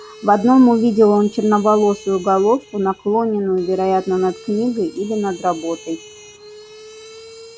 в одном увидел он черноволосую головку наклонённую вероятно над книгой или над работой